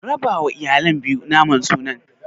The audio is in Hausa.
Rabawa iyalan biyu naman sunan.